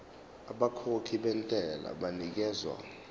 abakhokhi bentela banikezwa